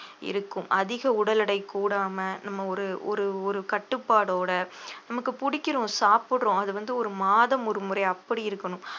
இருக்கும் அதிக உடல் எடை கூடாம நம்ம ஒரு ஒரு ஒரு கட்டுப்பாடோட நமக்கு பிடிக்கிறோம் சாப்பிடுறோம் அது வந்து ஒரு மாதம் ஒருமுறை அப்படி இருக்கணும்